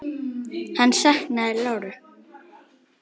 Hann saknaði láru.